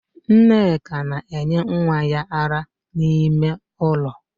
Nneka na enye nwa ya ara n'ime ụlọ